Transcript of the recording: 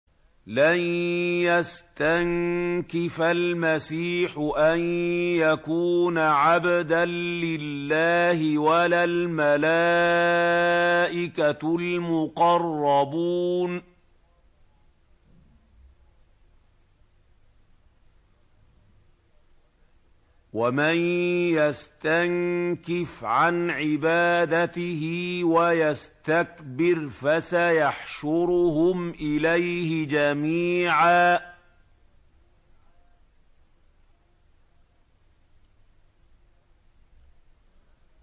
لَّن يَسْتَنكِفَ الْمَسِيحُ أَن يَكُونَ عَبْدًا لِّلَّهِ وَلَا الْمَلَائِكَةُ الْمُقَرَّبُونَ ۚ وَمَن يَسْتَنكِفْ عَنْ عِبَادَتِهِ وَيَسْتَكْبِرْ فَسَيَحْشُرُهُمْ إِلَيْهِ جَمِيعًا